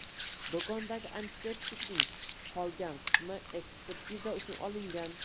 Do‘kondagi antiseptikning qolgan qismi ekspertiza uchun olingan.